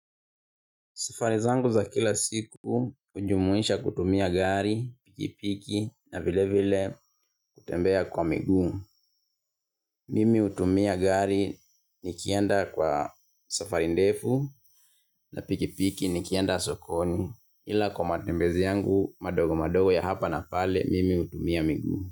Safari zangu za kila siku hujumuisha kutumia gari, pikipiki na vile vile kutembea kwa miguu. Mimi hutumia gari nikienda kwa safari ndefu na pikipiki nikienda sokoni ila kwa matembezi yangu madogo madogo ya hapa na pale mimi hutumia miguu.